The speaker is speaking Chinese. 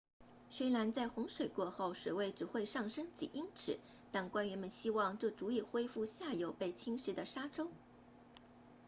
虽然在洪水过后水位只会上升几英尺但官员们希望这足以恢复下游被侵蚀的沙洲